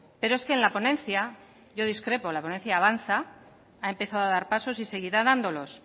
pero es que en la ponencia yo discrepo la ponencia avanza ha empezado a dar pasos y seguirá dándolos